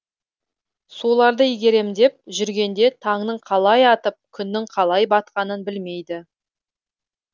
соларды игерем деп жүргенде таңның қалай атып күннің қалай батқанын білмейді